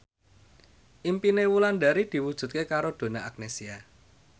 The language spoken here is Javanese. impine Wulandari diwujudke karo Donna Agnesia